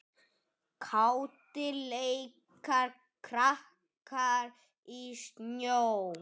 Kátir leika krakkar í snjó.